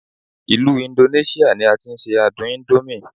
ilu Indonesia ni a ti n se adun indomie